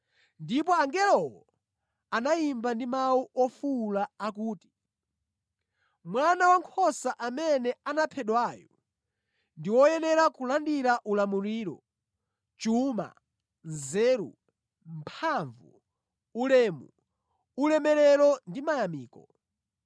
Ndipo angelowo anayimba ndi mawu ofuwula akuti, “Mwana Wankhosa amene anaphedwayu ndi woyenera kulandira ulamuliro, chuma, nzeru, mphamvu, ulemu, ulemerero ndi mayamiko.”